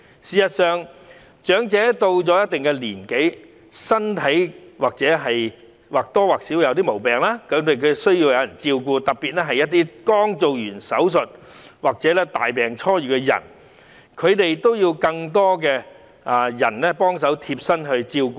事實上，長者到了一定年紀，身體多少會有點毛病，需要別人照顧，特別是剛完成手術或大病初癒的人，他們更需要貼身照顧。